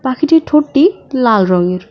পাখিটির ঠোঁটটি লাল রঙের।